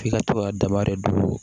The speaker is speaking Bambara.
F'i ka to ka daba de don